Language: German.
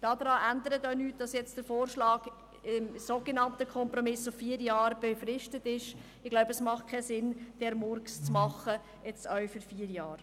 Der Vorschlag, die Regelung zu befristen – der so genannte Kompromiss –, ändert daran auch nichts, weil die Regelung meiner Meinung nach gar keinen Sinn macht.